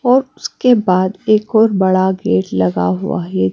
और उसके बाद एक और बड़ा गेट लगा हुआ है।